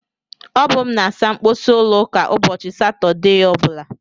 Ọ bụ m na-asa mposi ụlọ ụka ụbọchị Satọdee ọbụla.